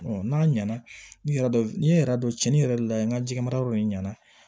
n'a ɲɛna ni yɛrɛ dɔ cɛn yɛrɛ de la n ka jɛgɛmara yɔrɔ in ɲɛna